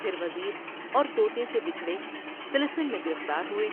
پھر وزیر اور توتے سے بچھڑے طلسم میں گرفتا ہوۓ ۔